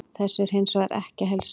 Þessu er hins vegar ekki að heilsa.